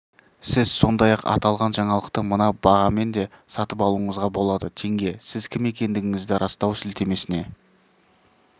сіз сондай-ақ аталған жаңалықты мына бағамен де сатып алуыңызға болады теңге сіз кім екендігіңізді растау сілтемесіне